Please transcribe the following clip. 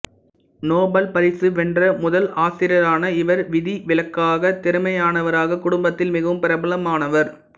Nobel பரிசு வென்ற முதல் ஆசியரான இவர் விதிவிலக்காக திறமையானவராக குடும்பத்தில் மிகவும் பிரபலமானவர்